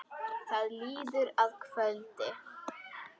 Það líður að kvöldi.